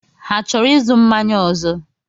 Ha chọrọ ịzụ mmanya ọzọ?